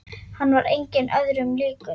Hann var engum öðrum líkur.